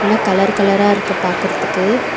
எல்லா கலர் கலரா இருக்கு பாக்குறத்துக்கு.